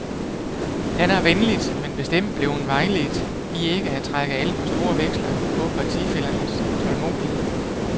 Han er venligt, men bestemt blevet vejledt i ikke at trække alt for store veksler på partifællernes tålmodighed.